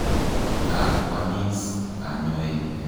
Ka kwamis kanyoik.